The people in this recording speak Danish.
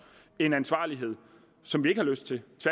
en ansvarlighed som vi ikke har lyst til